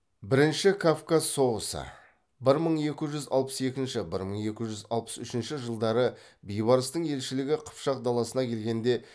бірінші кавказ соғысы бір мың екі жүз алпыс екінші бір мың екі жүз алпыс үшінші жылдары бейбарыстың елшілігі қыпшақ даласына келгенде